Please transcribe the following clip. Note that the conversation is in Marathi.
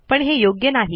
पण हे योग्य नाही